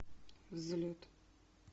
взлет